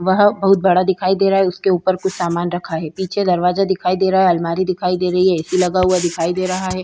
वहा बहुत बड़ा दिखाई दे रहा है उसके उपर कुछ सामान रखा है पीछे दरवाजा दिखाई दे रहा है अलमारी दिखाई दे रही है ऐ.सी. लगा हुआ दिखाई दे रहा है।